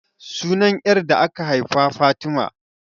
Sunan 'yar da aka haifa Fatima.